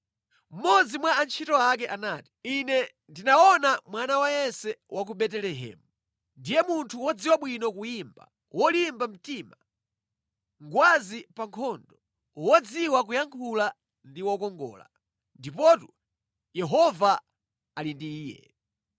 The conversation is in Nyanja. Mmodzi mwa antchito ake anati, “Ine ndinaona mwana wa Yese wa ku Betelehemu. Ndiye munthu wodziwa bwino kuyimba, wolimba mtima, ngwazi pa nkhondo, wodziwa kuyankhula ndi wokongola. Ndipotu Yehova ali ndi iye.”